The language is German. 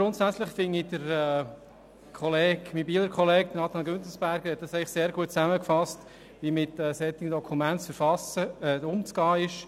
Grundsätzlich hat mein Bieler Kollege Güntensperger sehr gut zusammengefasst, wie mit solchen Dokumenten umzugehen ist.